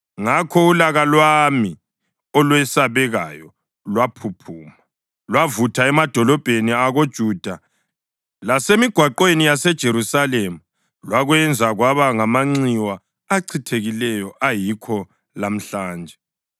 Ngakho ulaka lwami olwesabekayo lwaphuphuma; lwavutha emadolobheni akoJuda lasemigwaqweni yaseJerusalema, lwakwenza kwaba ngamanxiwa achithekileyo ayikho lamhlanje.